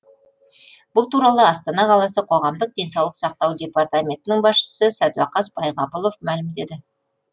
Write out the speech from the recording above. бұл туралы астана қаласы қоғамдық денсаулық сақтау департаментінің басшысы сәдуақас байғабұлов мәлімдеді